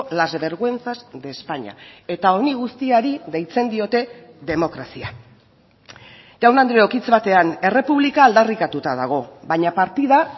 las vergüenzas de españa eta honi guztiari deitzen diote demokrazia jaun andreok hitz batean errepublika aldarrikatuta dago baina partida